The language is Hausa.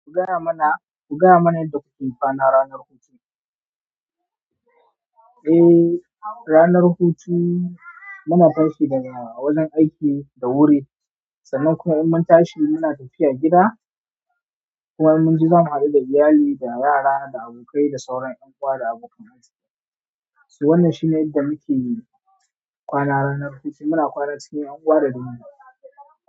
Ku gaya mana, ku gaya mana yadda kuke kwana ranar hutu. Eh, ranar hutu muna tashi daga wajen aiki da wuri, sannan kuma in mun tashi muna tafiya gida. Kuma mun ji zamu haɗu da iyali da yara da abokai da sauran ƴan uwa da abokan aski. Su wannan shine yadda muke kwana ranar hutu. Muna kwana cikin ƴan uwa da dangi.